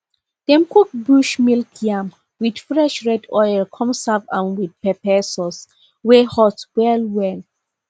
dem cook bush milk yam with fresh red oil come serve am with pepper sauce wey hot well well